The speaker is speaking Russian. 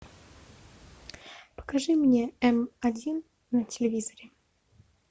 покажи мне м один на телевизоре